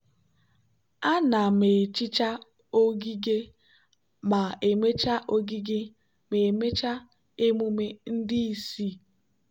ana m ehicha ogige ma emechaa ogige ma emechaa emume ndị isi.